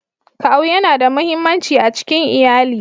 Kawu yana da muhimmanci a cikin iyali.